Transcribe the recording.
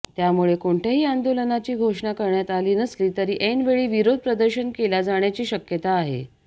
त्यामुळे कोणत्याही आंदोलनाची घोषणा करण्यात आली नसली तरी ऐनवेळी विरोध प्रदर्शन केला जाण्याची शक्यता आहे